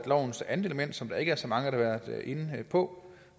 lovens andet element som der ikke er så mange der har været inde på